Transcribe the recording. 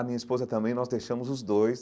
A minha esposa também, nós deixamos os dois.